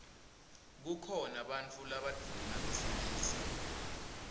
kukhona bantfu labadvuna besilisa